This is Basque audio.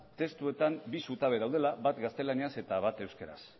testuetan bi zutabe daudela bat gaztelaniaz eta bat euskaraz